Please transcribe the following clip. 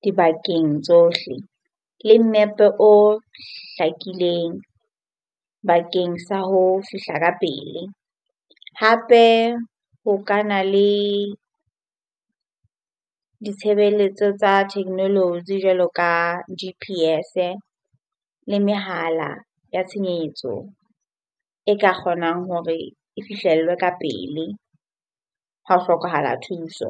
dibakeng tsohle le map-e o hlakileng bakeng sa ho fihla ka pele. Hape ho ka na le ditshebeletso tsa technology jwaloka G_P_S-e le mehala ya tshenyetso e ka kgonang hore e fihlellwe ka pele ha ho hlokahala thuso.